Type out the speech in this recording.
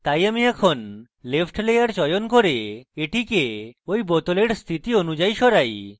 তাই আমি এখন left layer চয়ন করি এবং এটিকে ঐ bottle স্থিতি অনুযায়ী সরাই